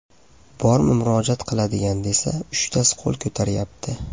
Bormi murojaat qiladigan desa, uchtasi qo‘l ko‘taryapti.